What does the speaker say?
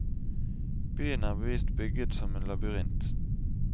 Byen er bevisst bygget som en labyrint.